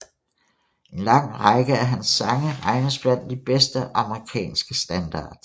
En lang række af hans sange regnes blandt de bedste amerikanske standards